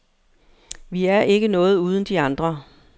Vi er ikke noget uden de andre.